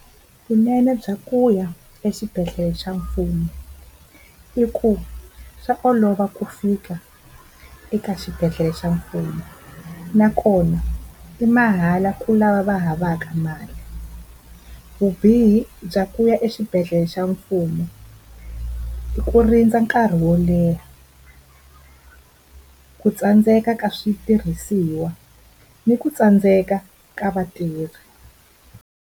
Vunene bya ku ya exibedhlele xa mfumo i ku swa olova ku fika eka xibedhlele xa mfumo, nakona i mahala ka lava va nga havaka mali. Vubihi bya ku ya exibedhlele xa mfumo i ku rindza nkarhi wo leha, ku tsandzeka ka switirhisiwa ni ku tsandzeka ka vatirhi.